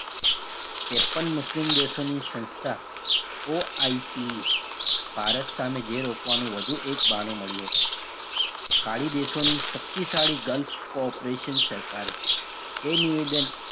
ત્રેપન મુસ્લિમ દેશોની સંસ્થા OICE ભારત સામે જે રોકવાનું વધુ એક બહાનું મળ્યું હતું ખાળી દેશોની શક્તિશાળી girls co- operation સરકારે એ નિવેદન,